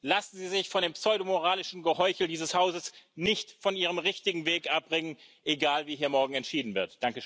Lassen Sie sich von dem pseudomoralischen Geheuchel dieses Hauses nicht von Ihrem richtigen Weg abbringen egal, wie hier morgen entschieden wird.